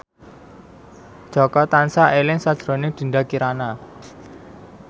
Jaka tansah eling sakjroning Dinda Kirana